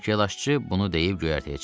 Takılaşçı bunu deyib göyərtəyə çıxdı.